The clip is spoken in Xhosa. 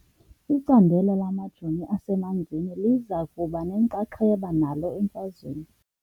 Icandelo lamajoni asemanzini liza kuba nenxaxheba nalo emfazweni .